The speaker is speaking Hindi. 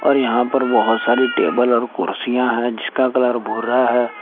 और यहां पर बहुत सारी टेबल और कुर्सियां है जिसका कलर भूरा है।